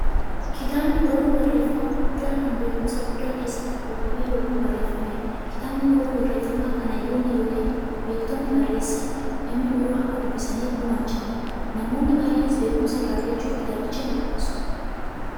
Kitaabni barruu barreeffamaa guddaa, kan beekumsi guddaan keessatti kuufame yookiin barreefameedha. Kitaabni barruu barreeffamaa, kan hayyoonni yookiin beektonni barreessanii, namni biroo akka dubbisaniif gumaachaniidha. Namoonni baay'eenis beekumsa irraa argachuuf kitaabicha nidubbisu.